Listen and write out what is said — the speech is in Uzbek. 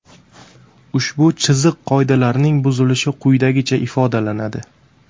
Ushbu chiziq qoidalarining buzilishi quyidagicha ifodalanadi.